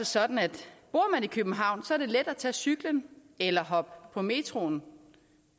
sådan at bor man i københavn er det let at tage cyklen eller hoppe på metroen